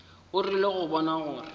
o rile go bona gore